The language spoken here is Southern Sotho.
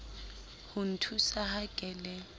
ho nthusa ha ke le